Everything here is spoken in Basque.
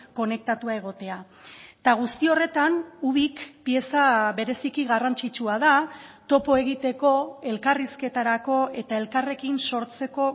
konektatua egotea eta guzti horretan ubik pieza bereziki garrantzitsua da topo egiteko elkarrizketarako eta elkarrekin sortzeko